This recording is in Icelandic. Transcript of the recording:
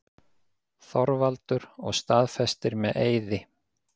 ÞORVALDUR: Og staðfestir með eiði.